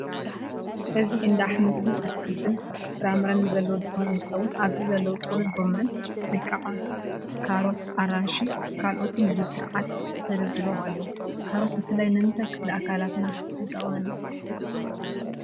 እዚ እንዳ ኣሕምልት ኣትክልት ፍራመራን ዘለዎ ድኳን እትከውን ኣብዚ ዘለው ጥቅሉል ጎመን ወይኒ ካሮስ ኣራንሺ ካልኦትን ብስርዓት ተደርዲሮም ኣለው። ካሮት ብፍላይ ንምንታይ ክፍሊ ኣካላትና ይጠቅመና ?